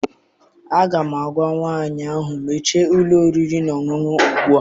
Aga m agwa nwaanyị ahụ, mechie ụlọ oriri na ọṅụṅụ a ugbu a!